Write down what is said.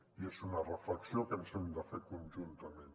i és una reflexió que hem de fer conjuntament